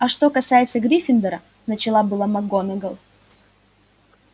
а что касается гриффиндора начала было макгонагалл